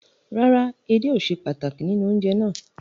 Rárá, èdè ò sè pàtákì nínu ọ̀unjẹ̀ ná